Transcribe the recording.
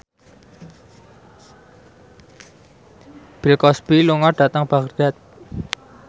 Bill Cosby lunga dhateng Baghdad